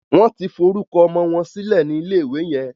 Wón tí forúkọ ọmọ wón sílè ní ilè ìwé yen.